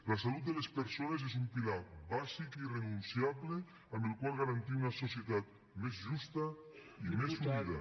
la salut de les persones és un pilar bàsic i irrenunciable amb el qual garantir una societat més justa i més unida